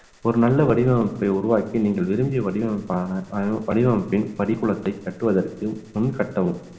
ஒரு நல்ல வடிவமைப்பை உருவாக்கி நீங்கள் விரும்பிய வடிவமைப்பான வடிவமைப்பின் படிக்குலத்தை கட்டுவதற்கு முன் கட்டவும்